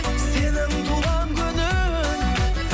сенің туған күнің